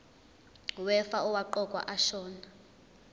wefa owaqokwa ashona